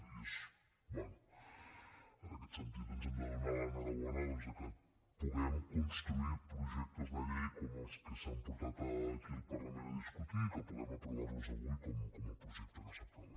bé en aquest sentit ens hem de donar l’enhorabona que puguem construir projectes de llei com els que s’han portat aquí al parlament a discutir i que puguem aprovar los avui com el projecte que s’aprova